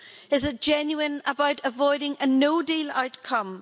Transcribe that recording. Is it genuine about avoiding a no deal outcome?